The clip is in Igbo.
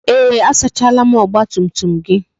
Ee, a sachala m ọgba tum tum gị